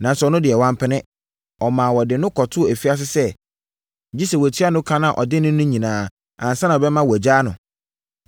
“Nanso ɔno deɛ, wampene. Ɔmaa wɔde no kɔtoo afiase sɛ gye sɛ watua no ka a ɔde no no nyinaa ansa na ɔbɛma wɔagyaa no.